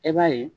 E b'a ye